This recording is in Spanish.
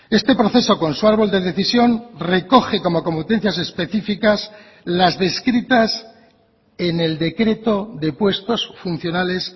este proceso con su árbol de decisión recoge como competencias específicas las descritas en el decreto de puestos funcionales